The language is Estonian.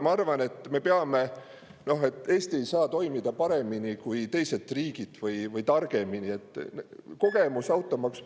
Ma arvan, et Eesti ei saa toimida paremini või targemini kui teised riigid.